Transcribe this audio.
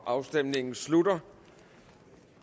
afstemningen slutter